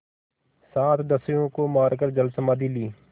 सात दस्युओं को मारकर जलसमाधि ली